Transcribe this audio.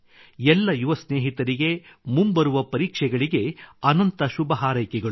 ಎಲ್ಲ ಯುವ ಸ್ನೇಹಿತರಿಗೆ ಮುಂಬರುವ ಪರೀಕ್ಷೆಗಳಿಗೆ ಅನಂತ ಶುಭಹಾರೈಕೆಗಳು